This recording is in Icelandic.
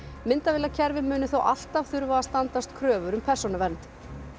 myndavélakerfi muni þó alltaf þurfa að standast kröfur um persónuvernd